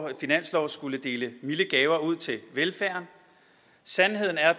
her finanslov skulle dele milde gaver ud til velfærden sandheden er